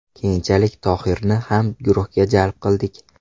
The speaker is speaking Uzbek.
Keyinchalik Tohirni ham guruhga jalb qildik.